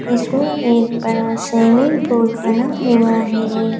इसमें एक बड़ा स्विमिंग पूल बना हुआ है।